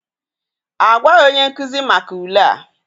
A gwaghị onye nkuzi maka ule a.